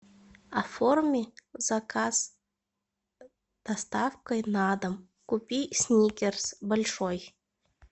оформи заказ с доставкой на дом купи сникерс большой